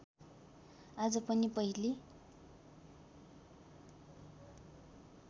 आज पनि पहिले